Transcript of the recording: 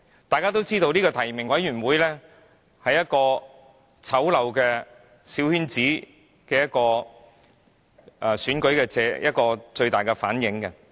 大家皆知道，提名委員會反映出小圈子選舉最醜陋的一面。